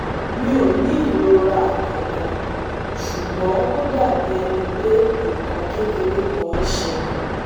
Mi o ni irora kankan, ṣugbọn o dabi ẹni pe nkan kekere kan n ṣẹlẹ